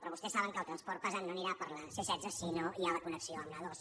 però vostès saben que el transport pesant no anirà per la c·setze si no hi ha la connexió amb la a·dos